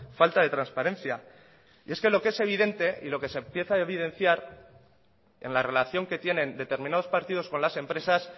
falta de transparencia y es que lo que es evidente y lo que se empieza a evidenciar en la relación que tienen determinados partidos con las empresas